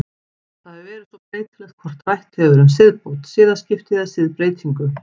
Það hefur svo verið breytilegt hvort rætt hefur verið um siðbót, siðaskipti eða siðbreytingu.